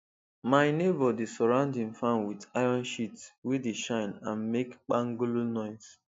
my neighbour dey surround him farm with iron sheet wey dey shine and make kpangolo noise